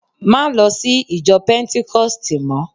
ma lo sí ìjọ pentikosti mo